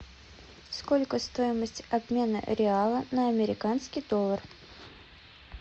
сколько стоимость обмена реала на американский доллар